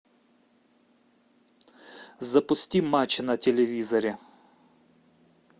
запусти матч на телевизоре